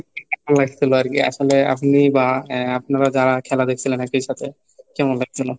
আর কি আসলে আপনি বা আপনারা যারা খেলা দেখছিলেন একই সাথে. কেমন লাগছিল?